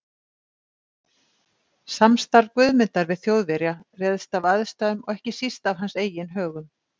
Samstarf Guðmundar við Þjóðverja réðst af aðstæðum og ekki síst af hans eigin högum.